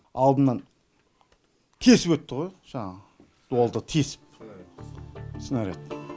алдымнан тесіп өтті ғой жаңағы дуалды тесіп снаряд